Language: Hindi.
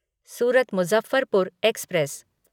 सूरत मुज़फ़्फ़रपुर एक्सप्रेस